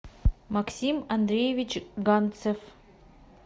максим андреевич ганцев